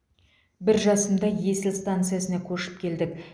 бір жасымда есіл станциясына көшіп келдік